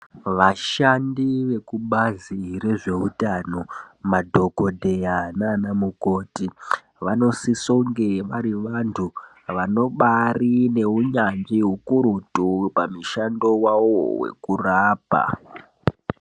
Vashandi vekubazi rezveutano, madhokodheya nana mukoti, vanosisonge vari vantu, vanobaari neunyanzvi hukurutu pamushando wavowo wekurapa.